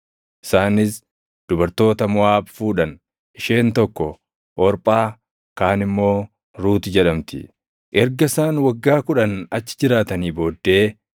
Isaanis dubartoota Moʼaab fuudhan; isheen tokko Orphaa kaan immoo Ruut jedhamti. Erga isaan waggaa kudhan achi jiraatanii booddee,